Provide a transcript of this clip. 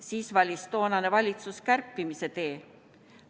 Siis valis toonane valitsus kärpimise tee.